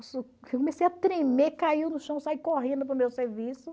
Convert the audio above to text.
Eu comecei a tremer, caiu no chão, saí correndo para o meu serviço.